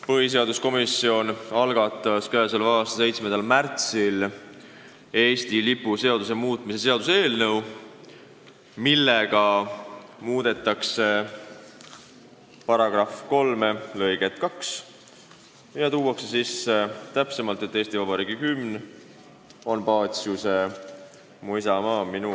Põhiseaduskomisjon algatas k.a 7. märtsil Eesti lipu seaduse muutmise seaduse eelnõu, millega muudetakse seaduse § 3 lõiget 2 ja pannakse seadusesse täpselt kirja, et Eesti Vabariigi hümn on Paciuse "Mu isamaa on minu arm".